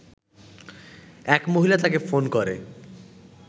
এক মহিলা তাকে ফোন করে